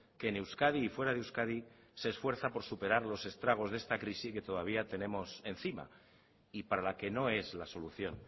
que en euskadi y fuera de euskadi se esfuerza para superar los estragos de esta crisis que todavía tenemos encima y para la que no es la solución